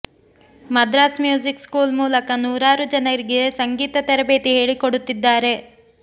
Madras music school ಮೂಲಕ ನೂರಾರು ಜನರಿಗೆ ಸಂಗೀತ ತರಬೇತಿ ಹೇಳಿಕೊಡುತ್ತಿದ್ದಾರೆ